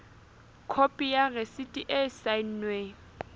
khopi ya rasiti e saennweng